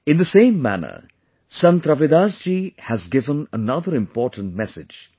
In the same manner Sant Ravidas ji has given another important message